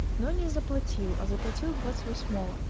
но не заплатил а заплатил двадцать восьмого